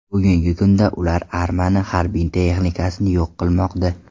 Bugungi kunda ular armani harbiy texnikasini yo‘q qilmoqda.